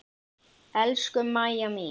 Elsku Mæja mín.